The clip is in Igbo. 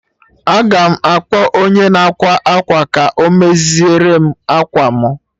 Aga m akpọ onye na-ákwà akwa ka ọ mezierem akwa mụ